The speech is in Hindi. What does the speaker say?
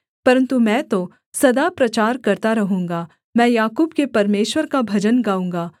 परन्तु मैं तो सदा प्रचार करता रहूँगा मैं याकूब के परमेश्वर का भजन गाऊँगा